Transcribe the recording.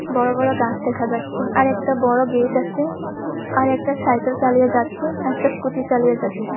বড় বড় গাছ দেখা যাচ্ছে আরেকটা বড় গেট আছেআর একটা সাইকেল চালিয়ে যাচ্ছে একটা স্কুটি চালিয়ে যাচ্ছে।